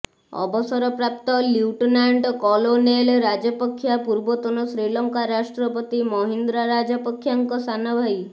ଅବସରପ୍ରାପ୍ତ lieutenant colonel Rajapaksa ପୂର୍ବତନ ଶ୍ରୀଲଙ୍କା ରାଷ୍ଟ୍ରପତି ମହିନ୍ଦ୍ରା ରାଜପକ୍ଷାଙ୍କ ସାନ ଭାଇ